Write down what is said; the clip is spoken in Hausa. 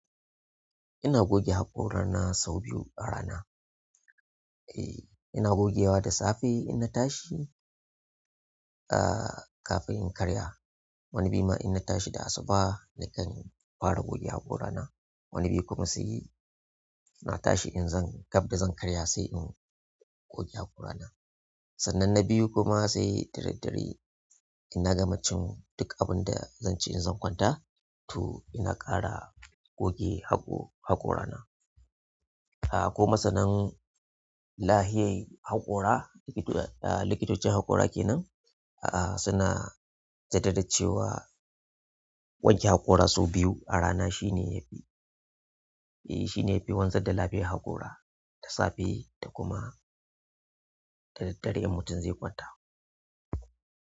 Ina goge haƙorana sau biyu a rana. E, ina gogewa da safe in na tashi, ah, kafin in karya. Wani bi ma in na tashi da asuba nakan fara goge haƙorana. Wani bi kuma sai natashi inzan, gab dazan ƙarya sai in goge haƙora na. Sannan na biyu kuma sai daddare inna gama cin duk abin da zan ci in zan kwanta to ina ƙara goge haƙo-haƙorana. Ah, kuma sanan lahiyen haƙora, likitocin haƙora ke nan, ah, suna jaddada cewa wanke haƙora sau biyu a rana shine yafi, eh shine yafi wanzar da lafiyar haƙora ta safe da kuma daddare in mutum zai kwanta.